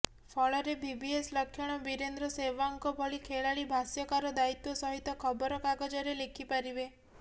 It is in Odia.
ଫଳରେ ଭିିଭିଏସ୍ ଲକ୍ଷ୍ମଣ ବୀରେନ୍ଦ୍ର ସେବହାଗଙ୍କ ଭଳି ଖେଳାଳି ଭାଷ୍ୟକାର ଦାୟିତ୍ୱ ସହିତ ଖବରକାଗଜରେ ଲେଖିପାରିବେ